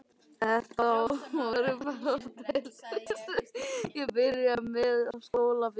Þetta voru bara stelpur sem ég byrjaði með á skólaballi.